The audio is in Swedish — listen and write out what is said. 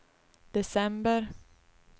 december